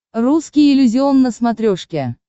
русский иллюзион на смотрешке